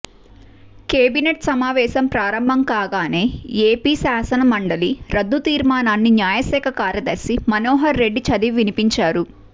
cabinet సమావేశం ప్రారంభంకాగానే AP శాసన మండలి రద్దు తీర్మానాన్ని న్యాయశాఖ కార్యదర్శి మనోహర్ రెడ్డి చదివి వినిపించారు